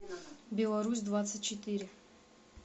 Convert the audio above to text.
беларусь двадцать четыре